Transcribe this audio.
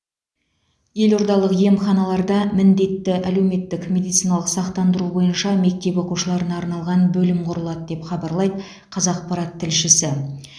елордалық емханаларда міндетті әлеуметтік медициналық сақтандыру бойынша мектеп оқушыларына арналған бөлім құрылады деп хабарлайды қазақпарат тілшісі